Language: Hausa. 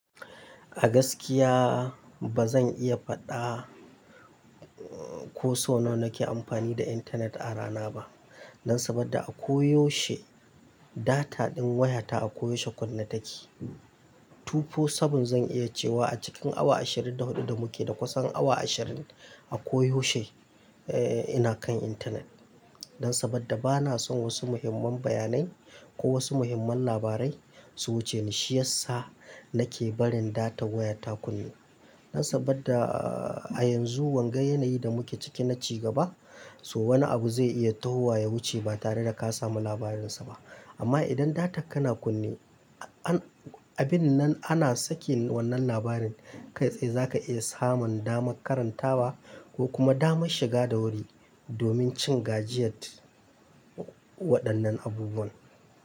A gaskiya bazan iya fada ko sau nawa nake amfani da internet a rana ba. Dan saboda a koyaushe data din wayata a koyaushe kunne take. Tufo sabun zan iya cewa a cikin awa ashirin da hudu da muke da kusan awa ashirin a koyaushe eh ina kan internet. Dan saboda bana son wasu muhimman bayanai ko wasu muhimman labarai su wuce ni, shiyasa nake barin data wayata kunne. Dan sabadda a yanzu wanga yanayi da muke ciki na ci gaba, so wani abu zai iya tahowa ya wuce ba tare da ka samu labarinsa ba. Amma idan data ka na kunne, abin nan ana sake wannan labarin, kai tsaye zaka iya samun damar karantawa ko kuma damar shiga da wuri domin cin gajiyyet waɗannan abubuwan.